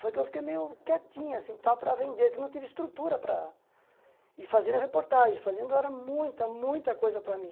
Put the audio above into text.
Foi que eu fiquei meio quietinho, assim, tal para vender, que não teve estrutura para... E fazendo reportagem, fazendo era muita, muita coisa para mim.